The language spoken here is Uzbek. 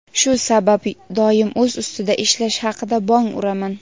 Shu sabab doim o‘z ustida ishlash haqida bong uraman.